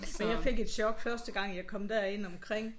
Og jeg fik et chok første gang jeg kom derind omkring